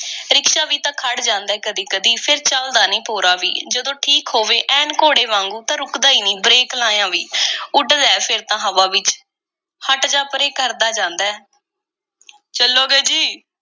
Rickshaw ਵੀ ਤਾਂ ਖੜ੍ਹ ਜਾਂਦਾ ਐ ਕਦੀ-ਕਦੀ, ਫੇਰ ਚੱਲਦਾ ਨੀ ਭੋਰਾ ਵੀ। ਜਦੋਂ ਠੀਕ ਹੋਵੇ, ਐਨ ਘੋੜੇ ਵਾਂਗੂੰ, ਤਾਂ ਰੁਕਦਾ ਈ ਨਹੀਂ, break ਲਾਇਆਂ ਵੀ। ਉੱਡਦਾ ਐ ਫੇਰ ਤਾਂ ਹਵਾ ਵਿੱਚ। ਹਟ ਜਾ ਪਰੇ— ਕਰਦਾ ਜਾਂਦਾ ਐ ਚੱਲੋਗੇ ਜੀ?